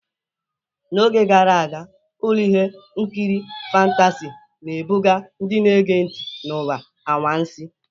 N'oge gara aga, ụlọ ihe nkiri fantasị na-ebuga ndị na-ege ntị n'ụwa anwansi.